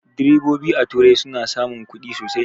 Direbobi a turai suna samun ƙudi sosai